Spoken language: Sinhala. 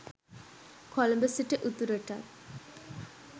කොළඹ සිට උතුරටත්